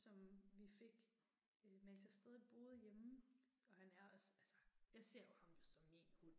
Som vi fik, mens jeg stadig boede hjemme. Og han er også, altså, jeg ser jo ham jo som min hund